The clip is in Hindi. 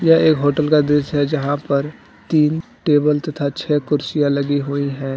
यह एक होटल का दृश्य है जहां पर तीन टेबल तथा छ कुर्सियां लगी हुई हैं।